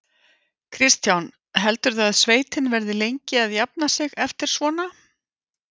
Kristján: Heldurðu að sveitin verði lengi að jafna sig eftir svona?